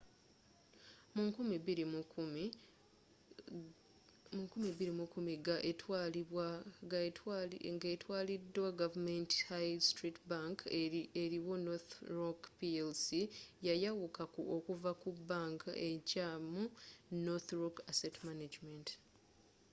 mu 2010 ga etwaliddwa gavumenti high street bank eriwo northern rock plc yayawuka okuva mu' bank ekyamu’ northern rock asset management